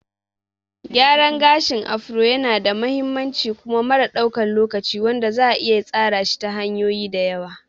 Gyaran gashin Afro yanada mahimmanci kuma mara ɗaukan lokaci wanda za'a iya tsara shi ta hanyoyi da yawa.